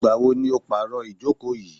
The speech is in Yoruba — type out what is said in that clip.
Ìgbà wo ni o pàro ìjókò yìí?